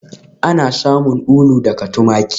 Ana samun ulu daga tumaki